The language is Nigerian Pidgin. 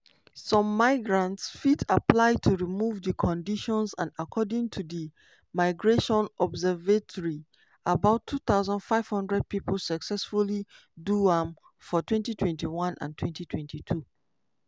some migrants fit apply to remove di condition and according to di migration observatory about 2500 pipo successfully do am for 2021 and 2022.